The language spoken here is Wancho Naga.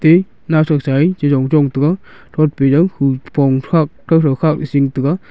e naothe chaia chirong taga shin taga.